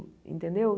Entendeu?